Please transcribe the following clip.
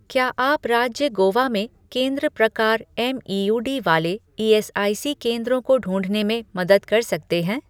क्या आप राज्य गोवा में केंद्र प्रकार एमईयूडी वाले ईएसआईसी केंद्रों को ढूँढने में मदद कर सकते हैं